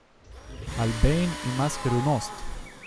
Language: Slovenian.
Albain ima skrivnost.